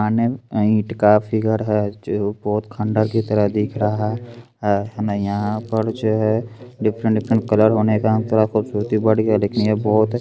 आने में ईट का फिगर है जो बहुत खन्डर की तरह दिख रहा है यहाँ पर जो है डिफरेंट डिफरेंट कलर होने का थोड़ा खूबसूरती बढ़ गया लेकिन ये